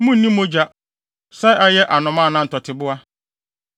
Munnni mogya—sɛ ɛyɛ nnomaa anaa ntɔteboa.